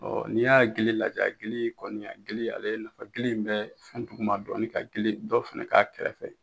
n'i y'a gili lajɛ a gili kɔni gili ale nafa gili in bɛ fɛn duguma dɔɔnin ka gili dɔ fana k'a kɛrɛfɛ